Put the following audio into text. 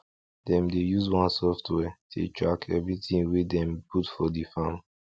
dem dey use one software take track everything wey dem put for the farm